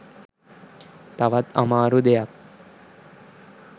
තවත් අමාරු දෙයක්.